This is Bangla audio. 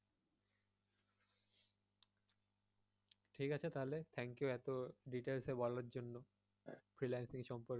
ঠিক আছে তাহলে thank you এতো details এ বলার জন্য